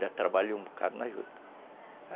Já trabalhou um bocado na juta.